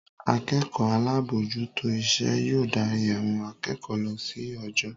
Akẹ́kọ̀ọ́ alábòójútó iṣẹ́ yóò darí àwọn akẹ́kọ̀ọ́ lọ sí ojo